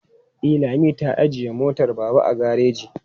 E, Lami ta ajiye motar Baba a gareji.